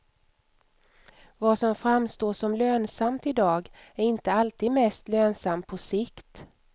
Vad som framstår som lönsamt i dag, är inte alltid mest lönsamt på sikt.